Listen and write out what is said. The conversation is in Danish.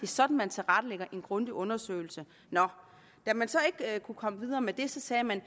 sådan man tilrettelægger en grundig undersøgelse nå da man så ikke kunne komme videre med det sagde man